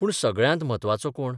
पूण सगळ्यांत म्हत्वाचो कोण?